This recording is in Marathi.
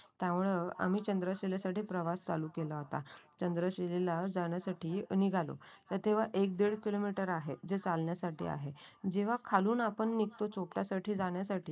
त्यामुळे आम्ही चंद्रशिले साठी प्रवास सुरू केला होता. चंद्रशिले ला जाण्यासाठी निघालो. तर तेव्हा एक-दीड किलोमीटर आहे जे चालण्यासाठी आहे. जेव्हा आपण खालून निघतो चोपटा साठी जाण्यासाठी